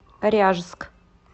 ряжск